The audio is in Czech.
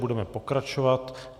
Budeme pokračovat.